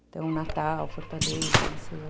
Então, Natal, Fortaleza, Maceió.